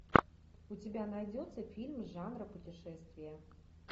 у тебя найдется фильм жанра путешествия